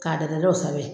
K'a da o sanfɛ